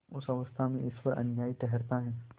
उस अवस्था में ईश्वर अन्यायी ठहराया जाता है